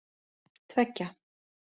tveggja